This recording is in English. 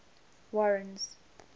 warren's